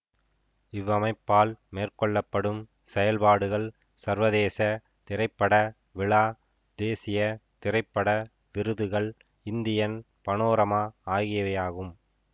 இவ்வமைப்பால் மேற்கொள்ள படும் செயல்பாடுகள் சர்வதேச திரைப்பட விழா தேசிய திரைப்பட விருதுகள் இந்தியன் பனோரமா ஆகியவையாகும்